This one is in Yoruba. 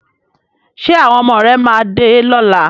Ṣé àwọn ọmọ rẹ máa dé lọ́la?